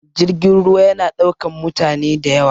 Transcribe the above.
Jirgin ruwa ya na ɗaukan mutane da yawa